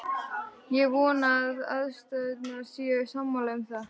Ég vona að aðstandendur séu sammála um það.